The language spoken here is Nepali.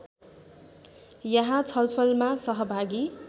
यहाँ छलफलमा सहभागी